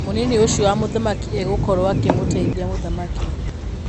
Mũnini ũcio wa Mũthamaki egũkorwo akĩmũteithia mũthamaki.